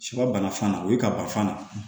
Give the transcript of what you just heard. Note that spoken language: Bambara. Sɛbana fan na o ye kabafan na